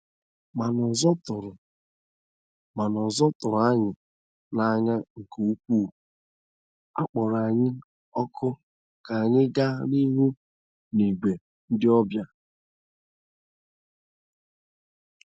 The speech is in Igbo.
Ma n’ụzọ tụrụ Ma n’ụzọ tụrụ anyị n’anya nke ukwuu, a kpọrọ anyị òkù ka anyị gaa n’ihu n’ìgwè ndị ọbịa.